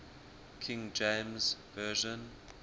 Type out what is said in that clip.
king james version